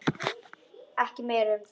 Ekki meira um það.